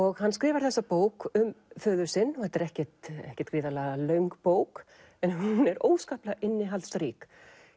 og hann skrifar þessa bók um föður sinn þetta er ekkert ekkert gríðarlega löng bók en hún er óskaplega innihaldsrík